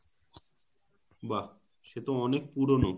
বাহ সে তো অনেক পুরোনো